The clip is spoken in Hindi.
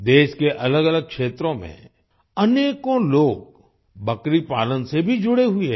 देश के अलगअलग क्षेत्रों में अनेकों लोग बकरी पालन से भी जुड़े हुए हैं